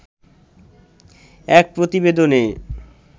এক প্রতিবেদনে